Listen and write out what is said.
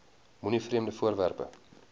moenie vreemde voorwerpe